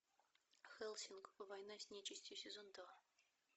хеллсинг война с нечистью сезон два